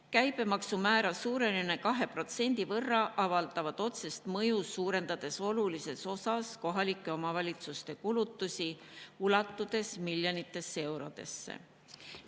Käibemaksumäära suurenemine 2% võrra avaldab otsest mõju, suurendades oluliselt kohalike omavalitsuste kulutusi, ulatudes miljonitesse eurodesse.